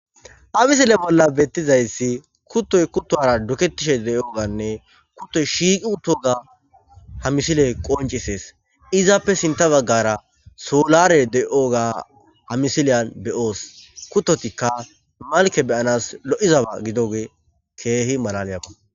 Ha misile bolla bettizayssi kuttoy kuttuwara dukettishe de7iyoganne kuttoy shiiqi uttoga ha misile qonccisees. Hessappe sintta baggara soolare de7iyoga ha misiliyan be7oos. Kuttotikka malkke be7anas lo7izaba gidooge keehi malaliyaba.